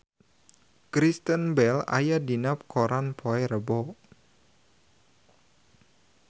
Kristen Bell aya dina koran poe Rebo